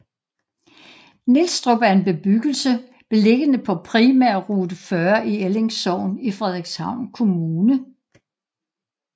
Nielstrup er en bebyggelse beliggende ved Primærrute 40 i Elling Sogn i Frederikshavn Kommune